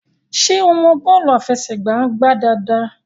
ṣe ọ mọ bọọlu afẹsẹgba ngbà dáadáa?